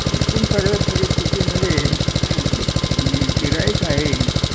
एकूण सगळ्यात परिस्थितीमधे ते गिर्हाईक आहे